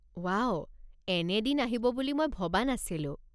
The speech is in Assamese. ৱাও, এনে দিন আহিব বুলি মই ভবা নাছিলো